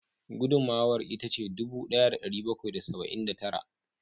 Gudunmawar ita ce dubu daya da dari bakwai da saba'in da tara